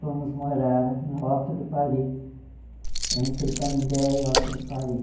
Fomos morar no Alto do Pari, entre Canindé e Alto do Pari.